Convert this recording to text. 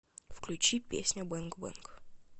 включи песня бэнг бэнг